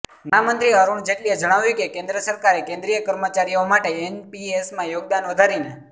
નાણામંત્રી અરુણ જેટલીએ જણાવ્યું કે કેન્દ્ર સરકારે કેન્દ્રીય કર્મચારીઓ માટે એનપીએસમાં યોગદાન વધારીને